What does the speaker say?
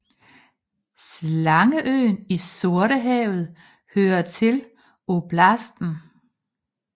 Slangeøen i Sortehavet hører til oblasten